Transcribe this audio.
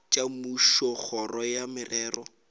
tša mmušo kgoro ya merero